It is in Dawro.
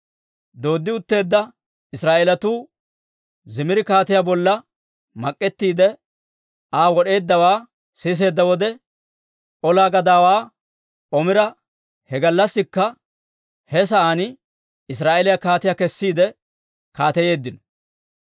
Dooddi utteedda Israa'eelatuu Zimiri kaatiyaa bolla mak'ettiide Aa wod'eeddawaa siseedda wode, ola gadaawaa Omira he gallassikka he sa'aan Israa'eeliyaa kaatiyaa kessiide kaateyeeddino.